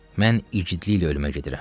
Mən igidliklə ölümə gedirəm.